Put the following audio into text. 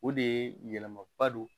O de ye yɛlɛmaba don